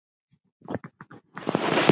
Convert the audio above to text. Af því stafar nafnið.